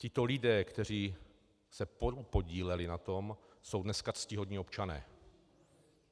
Tito lidé, kteří se podíleli na tom, jsou dneska ctihodní občané.